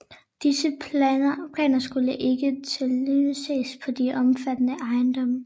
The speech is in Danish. Disse planer skulle ikke tinglyses på de omfattede ejendomme